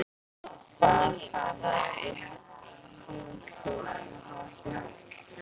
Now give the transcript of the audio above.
Bað hana í hálfum hljóðum að hafa ekki hátt.